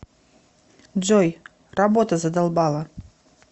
джой работа задолбала